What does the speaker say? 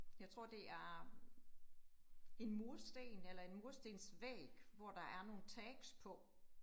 Jeg tror det er, en mursten eller en murstensvæg, hvor der er nogle tags på